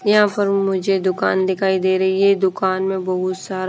यहां पर मुझे दुकान दिखाई दे रही है दुकान में बहुत सारा--